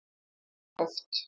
Mjög oft.